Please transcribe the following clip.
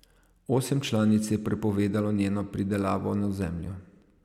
Osem članic je prepovedalo njeno pridelavo na ozemlju.